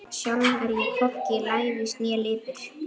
Sjálf er ég hvorki lævís né lipur.